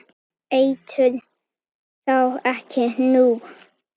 Eitur þá en ekki nú?